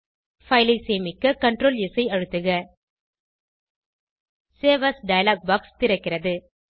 file ஐ சேமிக்க CTRL S ஐ அழுத்துக சேவ் ஏஎஸ் டயலாக் பாக்ஸ் திறக்கிறது